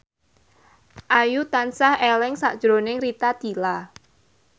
Ayu tansah eling sakjroning Rita Tila